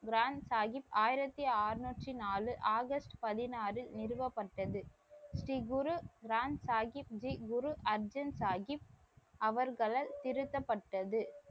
கிராந்த் சாஹிப் ஆயிரத்தி அறநூற்றி நாலு ஆகஸ்ட் பதினாறு நிறுவப்பட்டது. ஸ்ரீ குரு கிராந்த் சாஹிப் ஜி குரு அர்ஜென் சாஹிப் அவர்களால் திருத்தப்பட்டது.